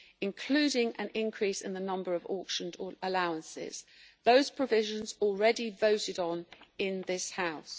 including an increase in the number of auctioned allowances, provisions already voted on in this House.